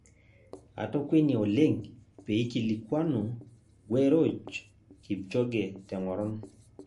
Atokwenia oleng' peikilikuanu gueroj Kipchoge teng'oron